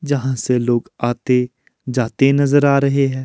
जहां से लोग आते जाते नजर आ रहे हैं।